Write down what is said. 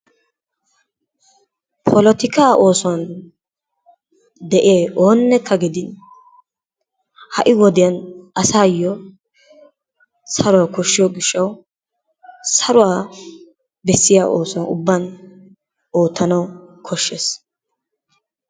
Polottikka oosuwan de'iya oonekka gidin ha'i wodiyan asayo saruwaa koshshiyo gishshawu saruwaa besiya oosuwan ubban oottanawu koshshees.